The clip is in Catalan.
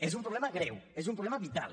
és un problema greu és un problema vital